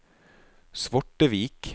Svortevik